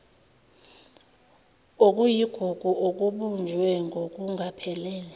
okuyigugu okubunjwe ngokungaphelele